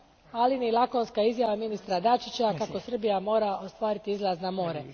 ali ni lakonska izjava ministra Dačića kako Srbija mora ostvariti izlaz na more.